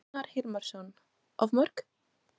Gunnar Hilmarsson: Of mörg?